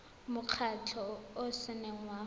mokgatlho o o seng wa